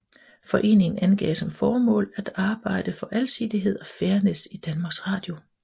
Foreningen angav som formål at arbejde for alsidighed og fairness i Danmarks Radio